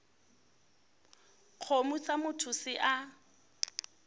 kgomo sa motho se a